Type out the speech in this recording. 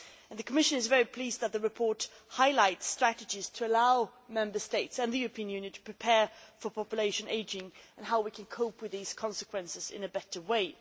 The Commission is very pleased that the report highlights strategies to allow Member States and the European Union to prepare for population ageing and how we can cope with these consequences in a better way.